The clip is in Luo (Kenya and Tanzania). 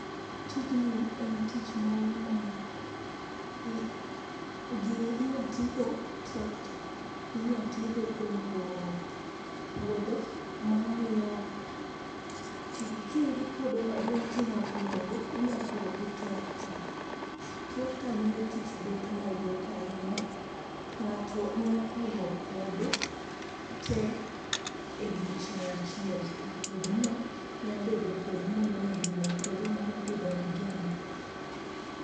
Tijni en tich moro ma gini inya ti go trakta. Inya ti go kuom puro podho ma miyo ka in gi puodho maduong' tinya puro go, inya puro gi trakta. Trakta miyo tich bet mayot ahinya. Ng'ato nya puro puodho te e odiechieng' achiel to puodho no nyabedo puodho moro maduong', puodho mar pidho majan.